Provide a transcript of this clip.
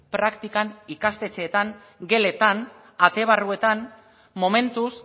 praktikan ikastetxeetan geletan ate barruetan momentuz